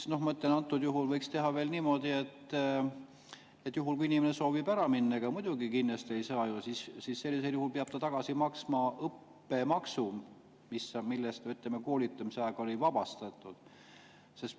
Antud juhul võiks teha niimoodi, et kui inimene soovib ära minna, siis muidugi kinni hoida ei saa, aga sellisel juhul peab ta maksma õppemaksu, millest ta koolitamise ajal oli vabastatud.